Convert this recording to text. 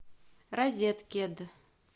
розеткед